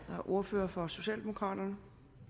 ordfører for socialdemokraterne